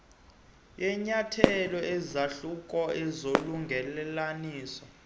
yenyathelo isahluko solungelelaniso